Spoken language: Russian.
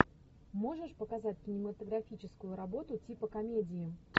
можешь показать кинематографическую работу типа комедии